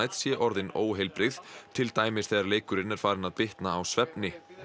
sé orðin óheilbrigð til dæmis þegar leikurinn er farinn að bitna á svefni